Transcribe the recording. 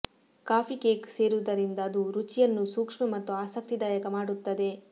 coffee cake ಸೇರಿಸುವುದರಿಂದ ಅದು ರುಚಿಯನ್ನು ಸೂಕ್ಷ್ಮ ಮತ್ತು ಆಸಕ್ತಿದಾಯಕ ಮಾಡುತ್ತದೆ